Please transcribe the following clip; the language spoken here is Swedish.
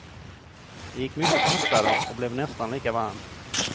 Det gick mycket fortare och blev nästan lika varmt.